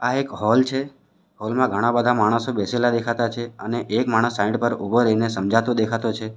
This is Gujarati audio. આ એક હોલ છે હોલ માં ઘણા બધા માણસો બેસેલા દેખાતા છે અને એક માણસ સાઈડ પર ઉભો રહીને સમજાતો દેખાતો છે.